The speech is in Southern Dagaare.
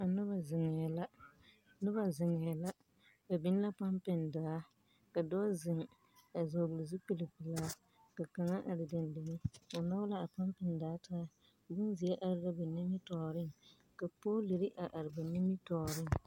Noba zeŋɛɛ la noba zeŋɛɛ la, ba biŋ la pɔmpeŋ daa ka dɔɔ zeŋ a vɔgele zupilpelaa ka kaŋa are dendeŋe, o nɔge la a pɔmpeŋ daa taa bonzie are la ba nimitɔɔreŋ ka poolori a are ba nimitɔɔreŋ.